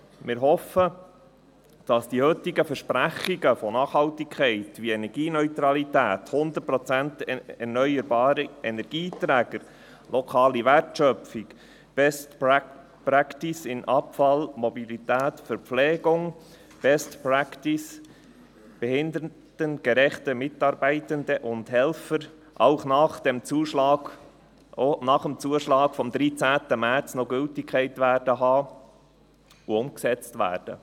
Wir hoffen, dass die heutigen Versprechen von Nachhaltigkeit, wie Energieneutralität, hundertprozentig erneuerbare Energieträger, lokale Wertschöpfung, Best Practice bezüglich Abfall, Mobilität und Verpflegung, Best Practice bezüglich behindertengerechte Mitarbeitende und Helfer, auch nach dem Zuschlag vom 13. März noch Gültigkeit haben und umgesetzt werden.